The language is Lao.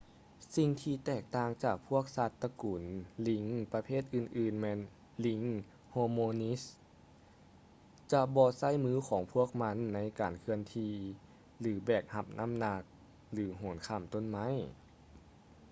ສິ່ງທີ່ແຕກຕ່າງຈາກພວກສັດຕະກຸນລີງປະເພດອື່ນໆແມ່ນລີງ ໂຮມິນິດສ໌ hominids ຈະບໍ່ໃຊ້ມືຂອງພວກມັນໃນການເຄື່ອນທີ່ ຫຼື ແບກຮັບນ້ຳໜັກ ຫຼື ໂຫນຂ້າມຕົ້ນໄມ້